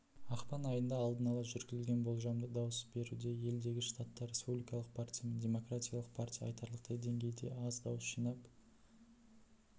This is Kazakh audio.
ақпан айында алдын ала жүргізілген болжамды дауыс беруде елдегі штатта республикалық партиямен демократиялық партия айтарлықтай деңгейде аз дауыс жинап